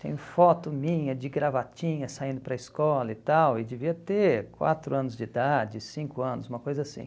Tem foto minha de gravatinha saindo para a escola e tal, e devia ter quatro anos de idade, cinco anos, uma coisa assim.